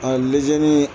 A lezeni